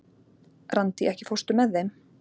Randí, ekki fórstu með þeim?